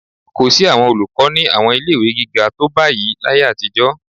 Kò sí àwọn olùkọ́ ní àwọn ilé-ìwé gíga tó báyìí láyé àtijọ́